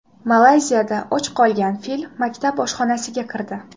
Malayziyada och qolgan fil maktab oshxonasiga kirdi.